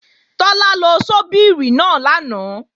Tọ́lá lo ṣọ́bìrì náà lánàá